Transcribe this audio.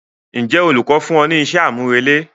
Ǹjẹ́ olùkọ́ fún ọ ní iṣẹ́ àmúrelé?